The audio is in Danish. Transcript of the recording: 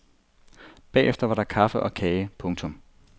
Bagefter var der kaffe og kage. punktum